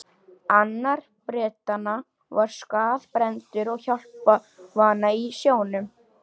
Annar Bretanna var skaðbrenndur og hjálparvana í sjónum.